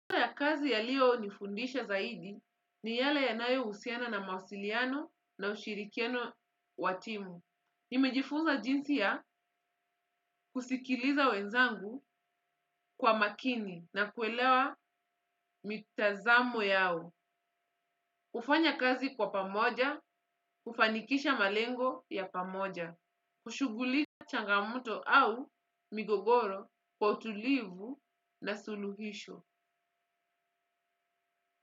Kwa ya kazi yaliyo nifundisha zaidi ni yale yanayo husiana na mawasiliano na ushirikiano wa timu. Nimejifuza jinsi ya kusikiliza wenzangu kwa makini na kuelewa mitazamo yao. Kufanya kazi kwa pamoja, kufanikisha malengo ya pamoja. Kushughulika changamoto au migogoro, kwa utulivu na suluhisho.